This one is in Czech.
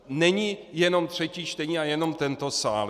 Není jenom třetí čtení a jenom tento sál.